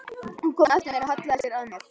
Hún kom á eftir mér og hallaði sér að mér.